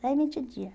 Daí vinte dia.